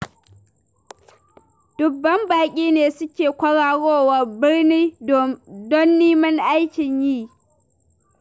Dubban baƙi ne suke kwararowa birnin do neman aikin yi.